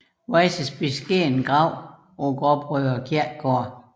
Weyses beskedne grav på Gråbrødre Kirkegård